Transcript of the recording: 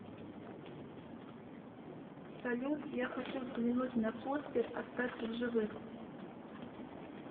салют я хочу взглянуть на постер остаться в живых